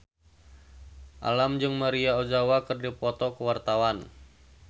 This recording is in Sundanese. Alam jeung Maria Ozawa keur dipoto ku wartawan